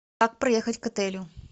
как проехать к отелю